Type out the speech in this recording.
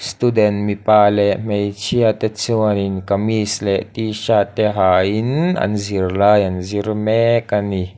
student mipa leh hmeichhia te chuanin kamis leh tshirt te ha in an zirlai an zir mek ani.